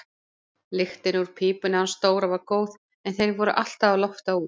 Lyktin úr pípunni hans Dóra var góð en þeir voru alltaf að lofta út.